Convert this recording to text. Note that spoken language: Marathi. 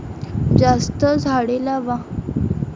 जास्त झाडे लावा.